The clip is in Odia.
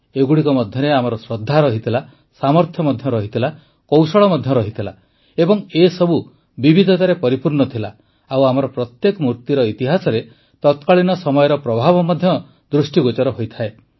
ଏଗୁଡ଼ିକ ମଧ୍ୟରେ ଆମର ଶ୍ରଦ୍ଧା ରହିଥିଲା ସାମର୍ଥ୍ୟ ମଧ୍ୟ ରହିଥିଲା କୌଶଳ ମଧ୍ୟ ରହିଥିଲା ଏବଂ ଏସବୁ ବିବିଧତାରେ ପରିପୂର୍ଣ୍ଣ ଥିଲା ଓ ଆମର ପ୍ରତ୍ୟେକ ମୂର୍ତ୍ତିର ଇତିହାସରେ ତତ୍କାଳୀନ ସମୟର ପ୍ରଭାବ ମଧ୍ୟ ଦୃଷ୍ଟିଗୋଚର ହୋଇଥାଏ